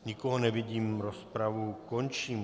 Nikoho nevidím, rozpravu končím.